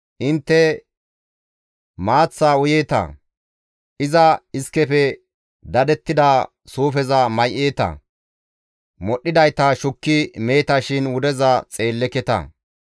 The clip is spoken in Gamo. Intte maaththaa uyeeta; iza iskefe dadettida suufeza may7eeta; modhdhidayta shukki meeta shin wudeza xeelleketa.